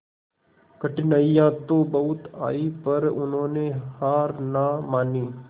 कठिनाइयां तो बहुत आई पर उन्होंने हार ना मानी